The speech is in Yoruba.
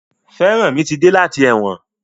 Feranmi mí ti dé láti èwòn.